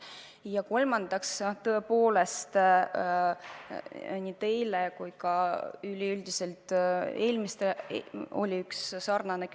Ja kolmandaks: teil oli põhimõtteliselt sama küsimus kui mitmel eelmisel küsijal.